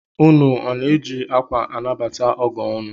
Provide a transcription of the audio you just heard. Ụnụ ọ na-eji akwa anabata ọgọ ụnụ?